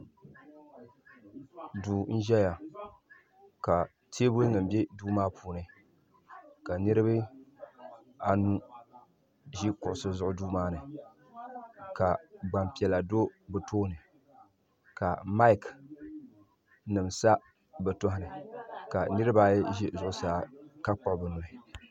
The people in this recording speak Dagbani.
Duu n ʒɛya ka teebuli nima bɛ duu maa puuni ka niriba anu ʒi kuɣusi zuɣu duu maani ka gbampiɛla do bɛ tooni ka maaki nima sa bɛ tohini ka niriba ayi ʒi zuɣusaa ka kpuɣi bɛ nuhi.